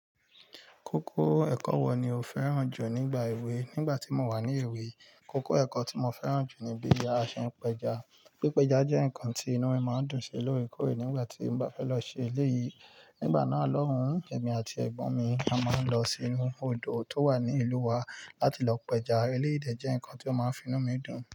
Kókó ẹ̀kọ́ wo ni o fẹ́ràn jù nígbà èwe? Nígbà tí mo wà ní èwe, kókó ẹ̀kọ́ tí mo fẹ́ràn jù ni bí a ṣe ń pẹja. Pípẹjá jẹ́ nǹkan tí inú mi máa ń dùn sí lóorekoore nígbà tí mo bá fẹ́ lọ ṣe eléyìí. Nígbà náà, lọ́wun, ẹ̀mí àti ẹgbon mi a máa ń lọ sínú odò tó wà ní ìlú wa láti lọ pẹja. Eléyìí dè jẹ́ nǹkan tí ó máa ń fi inú mi dùn.